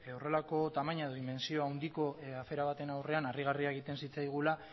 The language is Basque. horrelako tamaina edo dimentsio handiko afera baten aurrean harrigarria egiten zitzaigula